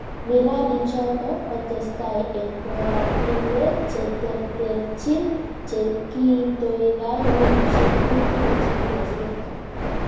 Miradiichoto kotesetai eng koratinwek che tertechiin che kiitoigai wikisyek tutigiin che kigosirto